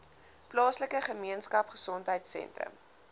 plaaslike gemeenskapgesondheid sentrum